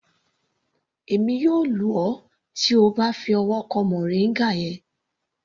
Èmi yóò lù ọ tí O bá fi ọwọ́ kan moringa yẹn.